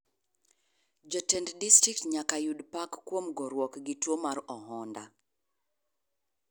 Jotend distrikt nyaka yud pak kuom goruok gi tuo mar ohonda,.